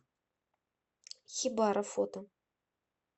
хибара фото